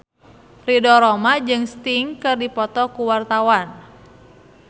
Ridho Roma jeung Sting keur dipoto ku wartawan